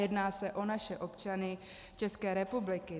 Jedná se o naše občany České republiky.